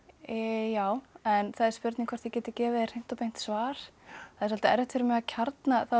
já en það spurning hvort ég geti gefið þér hreint og beint svar það er svolítið erfitt fyrir mig að kjarna það var